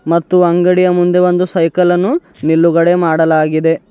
ಮತ್ತು ಅಂಗಡಿಯ ಮುಂದೆ ಒಂದು ಸೈಕಲ್ ಅನ್ನು ನಿಲುಗಡೆ ಮಾಡಲಾಗಿದೆ.